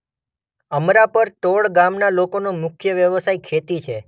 અમરાપર ટોળ ગામના લોકોનો મુખ્ય વ્યવસાય ખેતી છે.